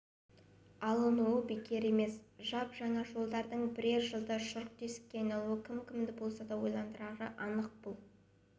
алынуы бекер емес жап-жаңа жолдардың бірер жылда шұрқ-тесікке айналуы кім-кімді болса да ойландырары анық бұл